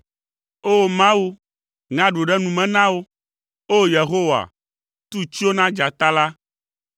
O, Mawu, ŋe aɖu ɖe nu me na wo, O, Yehowa, tu tsyo na dzata la!